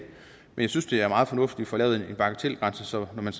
men jeg synes det er meget fornuftigt får lavet en bagatelgrænse så man